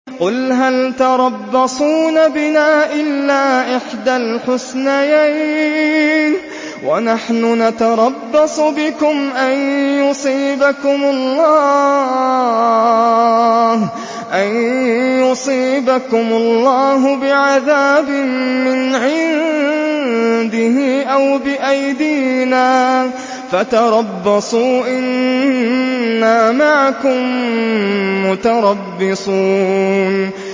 قُلْ هَلْ تَرَبَّصُونَ بِنَا إِلَّا إِحْدَى الْحُسْنَيَيْنِ ۖ وَنَحْنُ نَتَرَبَّصُ بِكُمْ أَن يُصِيبَكُمُ اللَّهُ بِعَذَابٍ مِّنْ عِندِهِ أَوْ بِأَيْدِينَا ۖ فَتَرَبَّصُوا إِنَّا مَعَكُم مُّتَرَبِّصُونَ